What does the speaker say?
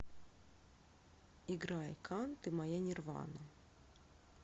играй кан ты моя нирвана